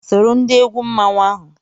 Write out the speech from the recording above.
Soro ndị egwu mmanwụ ahụ!